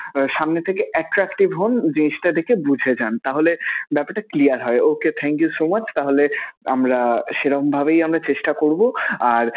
সামনে থেকে attractive হন, জিনিসটা দেখে বুঝে যান. তাহলে ব্যাপারটা clear হয়. Okay thank you so much তাহলে আমরা সেরকমভাবেই আমরা চেষ্টা করবো আর